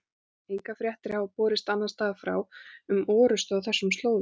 Engar fréttir hafa borist annars staðar frá um orrustu á þessum slóðum.